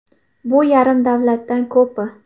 Bu yarim davlatdan ko‘pi.